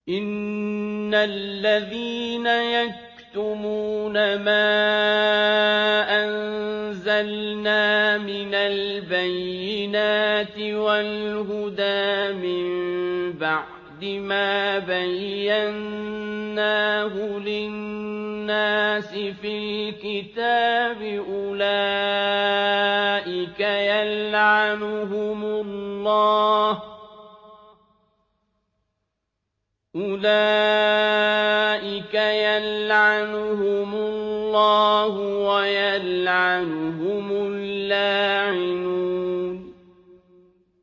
إِنَّ الَّذِينَ يَكْتُمُونَ مَا أَنزَلْنَا مِنَ الْبَيِّنَاتِ وَالْهُدَىٰ مِن بَعْدِ مَا بَيَّنَّاهُ لِلنَّاسِ فِي الْكِتَابِ ۙ أُولَٰئِكَ يَلْعَنُهُمُ اللَّهُ وَيَلْعَنُهُمُ اللَّاعِنُونَ